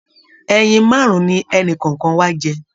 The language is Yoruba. Ẹyin márùn ní ẹni kọọkan wà jẹ